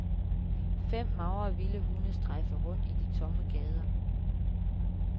Fem magre vilde hunde strejfer rundt i de tomme gader.